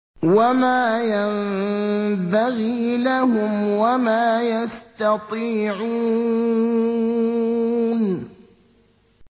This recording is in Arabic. وَمَا يَنبَغِي لَهُمْ وَمَا يَسْتَطِيعُونَ